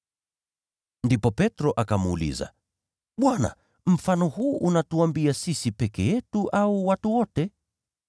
Ndipo Petro akamuuliza, “Bwana, mfano huu unatuambia sisi peke yetu au watu wote?”